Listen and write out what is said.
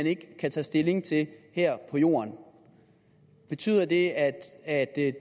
ikke kan tage stilling til her på jorden betyder det at